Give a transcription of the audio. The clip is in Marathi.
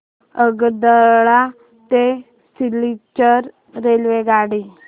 आगरतळा ते सिलचर रेल्वेगाडी